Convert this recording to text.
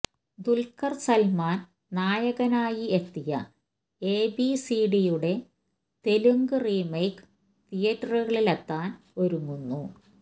ദുല്ഖര് സല്മാന് നായകനായി എത്തിയ എബിസിഡിയുടെ തെലുങ്ക് റീമേക്ക് തീയേറ്ററുകളിലെത്താന് ഒരുങ്ങുന്നു